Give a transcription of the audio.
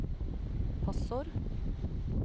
passord